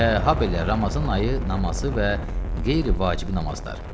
Və habelə Ramazan ayı namazı və qeyri-vacibi namazlar.